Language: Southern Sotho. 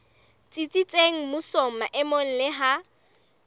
tsitsitseng mmusong maemong le ha